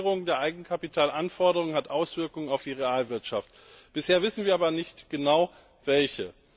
Die Regulierung der Eigenkapitalanforderungen hat Auswirkungen auf die Realwirtschaft. Bisher wissen wir aber nicht genau, welche.